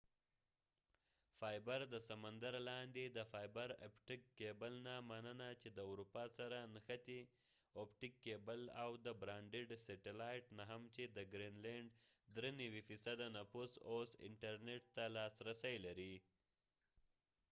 د سمندر لاندې د فایبر اپټک کېبلfiber optic cable نه مننه چې د اروپا سره نښتی او د براډبیند سیټلایت نه هم چې دګرین لینډ ٪93 نفوس اوس انټرنټ ته لاس رسی لري